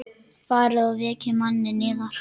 Farið og vekið manninn yðar.